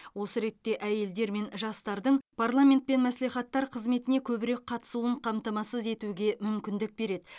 осы ретте әйелдер мен жастардың парламент пен мәслихаттар қызметіне көбірек қатысуын қамтамасыз етуге мүмкіндік береді